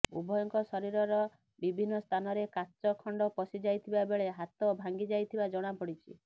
ଉଭୟଙ୍କ ଶରୀର ବିଭିନ୍ନ ସ୍ଥାନରେ କାଚ ଖଣ୍ଡ ପଶିଯାଇଥିବା ବେଳେ ହାତ ଭାଂଗି ଯାଇଥିବା ଜଣାପଡ଼ିଛି